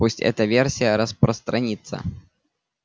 пусть эта версия распространится